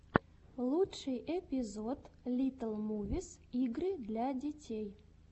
лучший эпизод литтл мувис игры для детей